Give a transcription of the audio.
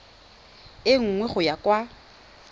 e nngwe go ya kwa